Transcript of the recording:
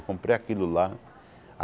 Comprei aquilo lá.